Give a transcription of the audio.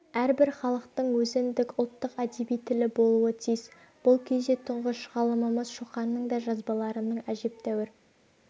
әрбір халықтың өзіндік ұлттык әдеби тілі болуы тиіс бұл кезде тұңғыш ғалымымыз шоқанның да жазбаларының әжептәуір